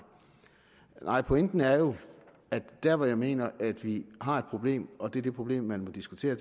nej pointen er jo at der hvor jeg mener at vi har et problem og det er det problem vi må diskutere